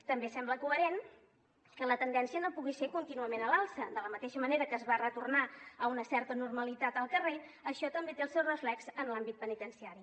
també sembla coherent que la tendència no pugui ser contínuament a l’alça de la mateixa manera que es va retornar a una certa normalitat al carrer això també té el seu reflex en l’àmbit penitenciari